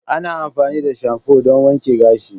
Ana amfani da shamfu don wanke gashi.